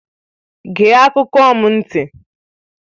Gee akụkọ m ntị!